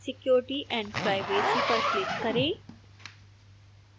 security & privacy पर click करें